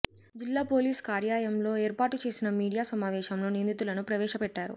జిల్లా పోలీస్ కార్యాయంలో ఏర్పాటు చేసిన మీడియా సమావేశంలో నిందితులను ప్రవేశపెట్టారు